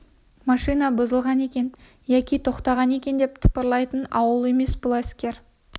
машина бұзылған екен яки тоқтаған екен деп тапырлайтын ауыл емес бұл әскер